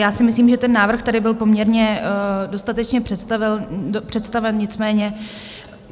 Já si myslím, že ten návrh tady byl poměrně dostatečně představen, nicméně...